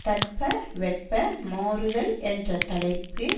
தட்பவெப்ப மாறுதல் என்ற தலைப்பு